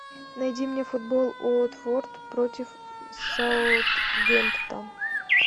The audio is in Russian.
найди мне футбол уотфорд против саутгемптон